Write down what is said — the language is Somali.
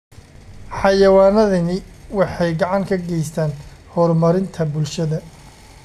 Xayawaanadani waxay gacan ka geystaan ??horumarinta bulshada.